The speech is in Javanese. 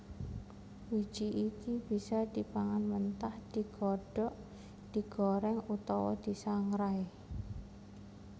Wiji iki bisa dipangan mentah digodhog digorèng utawa disangrai